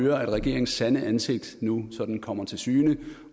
at regeringens sande ansigt nu sådan kommer til syne